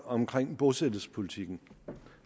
omkring bosættelsespolitikken